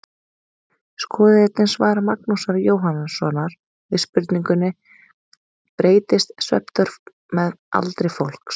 Skoðið einnig svar Magnúsar Jóhannssonar við spurningunni Breytist svefnþörf með aldri fólks?